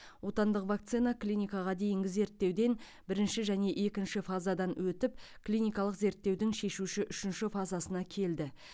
отандық вакцина клиникаға дейінгі зерттеуден бірінші және екінші фазадан өтіп клиникалық зерттеудің шешуші үшінші фазасына келді